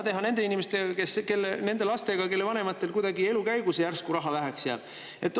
Aga mida teha nende lastega, kelle vanematel elu jooksul järsku raha väheks jääb?